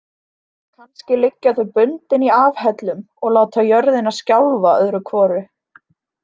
Kannski liggja þau bundin í afhellum og láta jörðina skjálfa öðru hvoru.